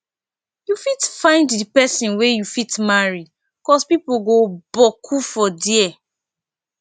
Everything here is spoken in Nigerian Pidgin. yu fit find di pesin wey yu fit marry cos pipo go boku for dia